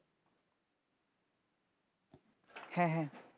হ্যাঁ হ্যাঁ